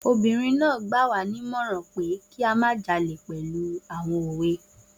Obìnrin náà gbà wá nímọ̀ràn pé kí a má jalè pẹ̀lú àwọn òwe